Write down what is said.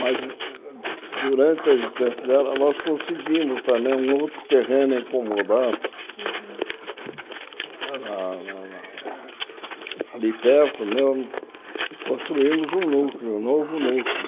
Mas, durante a existência dela, nós conseguimos também um outro terreno incomodado, a lá a lá ali perto mesmo, e construímos um núcleo, um novo núcleo.